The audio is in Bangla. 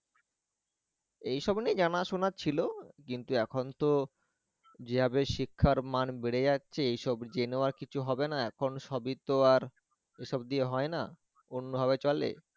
এইসব নিয়ে জানা জানা ছিল কিন্তু এখন তো, যেভাবে শিক্ষার মান বেড়ে যাচ্ছে এই সব জেনেও আর কিছু হবে না, এখন সবই তো আর এসব দিয়ে হয়না অন্যভাবে চলে